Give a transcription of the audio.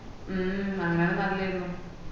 മ്മ് അങ്ങനെ നല്ലയര്ന്നു